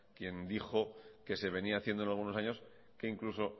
quien dijo que se venía haciéndolo algunos años que incluso